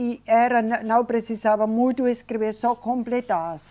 E era, na não precisava muito escrever, só completar